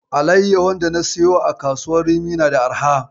Alayyahun dana siya a kasuwar rimi na da arha.